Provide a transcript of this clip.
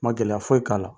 Ma gɛlɛya foyi k'a la